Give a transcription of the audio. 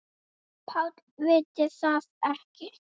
PÁLL: Vitið þið það ekki?